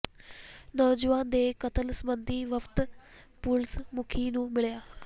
ਨੌਜਵਾਨ ਦੇ ਕਤਲ ਸਬੰਧੀ ਵਫਦ ਪੁਲੀਸ ਮੁਖੀ ਨੂੰ ਮਿਲਿਆ